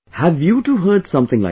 Have you too heard something like that